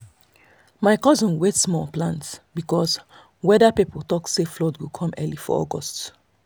my cousin wait small plant because weather people talk say flood go come early for august.